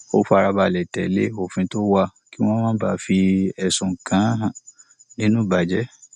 ó fara balẹ tẹlé òfin tó wà kí wón má bàa fi ẹsùn kàn án nínú ìbàjẹ